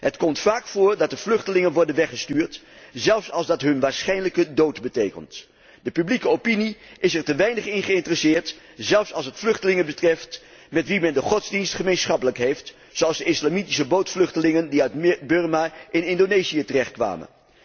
Het komt vaak voor dat de vluchtelingen worden weggestuurd, zelfs als dat hun wisse dood betekent. De publieke opinie is er te weinig in geïnteresseerd, zelfs als het vluchtelingen betreft met wie men de godsdienst gemeen heeft, zoals de islamitische bootvluchtelingen die uit Birma in Indonesië terechtkwamen.